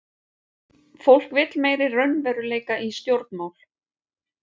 Fólk vill meiri raunveruleika í stjórnmál